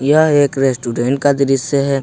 यह एक रेस्टोरेंट का दृश्य है।